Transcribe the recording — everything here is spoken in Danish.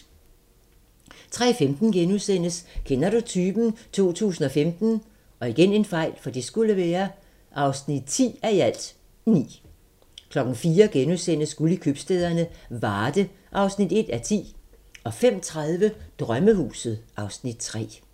03:15: Kender du typen? 2015 (10:9)* 04:00: Guld i købstæderne - Varde (1:10)* 05:30: Drømmehuset (Afs. 3)